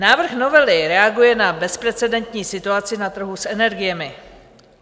Návrh novely reaguje na bezprecedentní situaci na trhu s energiemi.